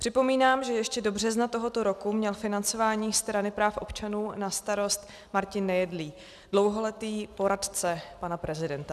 Připomínám, že ještě do března tohoto roku měl financování Strany práv občanů na starost Martin Nejedlý, dlouholetý poradce pana prezidenta.